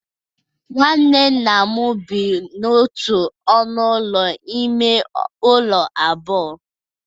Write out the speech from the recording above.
Nwanne nna m bi n'otu ọnụ ụlọ ime ụlọ abụọ